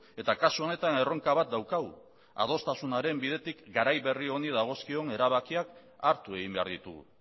eta kasu honetan erronka bat daukagu adostasunaren bidetik garai berri honi dagozkion erabakiak hartu egin behar ditugu